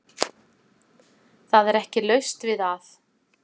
Það er ekki laust við að